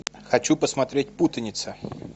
хочу посмотреть путаница